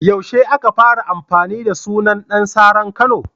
Yaushe aka fara amfani da sunan Ɗan saran Kano?